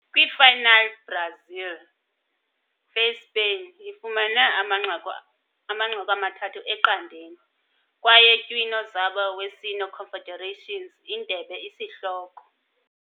Kwi final, Brazil faced Spain, ifumana amanqaku ama-3-0 kwaye tywino zabo wesine Confederations Indebe isihloko.